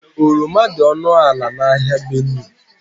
Oroma dị ọnụ ala n'ahịa Benue.